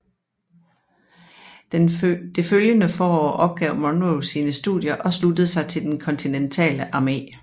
Det følgende forår opgav Monroe sine studier og sluttede sig til den kontinentale armé